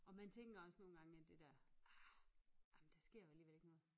Og man tænker også nogen gange det der ah ej men der sker vel alligevel ikke noget